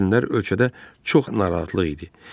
Həmin günlər ölkədə çox narahatlıq idi.